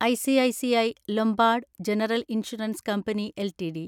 ICICI Lombard general insurance company LTD